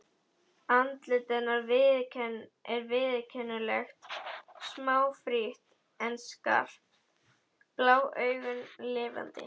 Andlit hennar er viðkunnanlegt, smáfrítt en skarpt, blá augun lifandi.